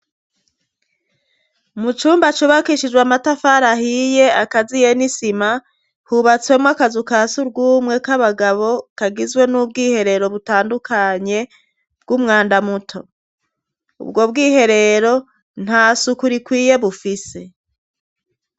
Mu cumba cubakishijwe amatafari ahiye akaziye n'isima, hubatswemwo akazu ka surwumwe k'abagabo. Kagizwe n'ubwiherero butandukanye bw'umwanda muto. Ubwo bwiherero nta suku rikwiye bufise.